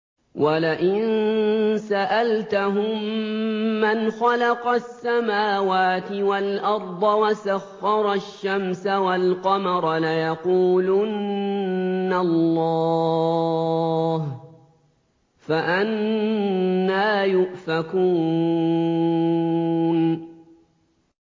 وَلَئِن سَأَلْتَهُم مَّنْ خَلَقَ السَّمَاوَاتِ وَالْأَرْضَ وَسَخَّرَ الشَّمْسَ وَالْقَمَرَ لَيَقُولُنَّ اللَّهُ ۖ فَأَنَّىٰ يُؤْفَكُونَ